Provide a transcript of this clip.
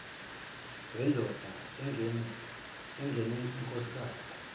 zendoda engene inkosikazi